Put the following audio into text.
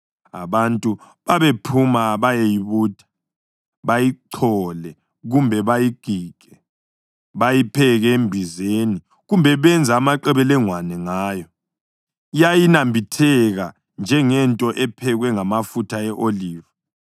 Abantu babephuma bayeyibutha, bayichole kumbe bayigige. Babeyipheka embizeni kumbe benze amaqebelengwana ngayo. Yayinambitheka njengento ephekwe ngamafutha e-oliva.